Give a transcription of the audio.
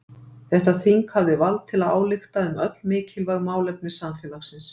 Þetta þing hafði vald til að álykta um öll mikilvæg málefni samfélagsins.